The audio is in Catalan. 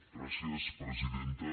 gràcies presidenta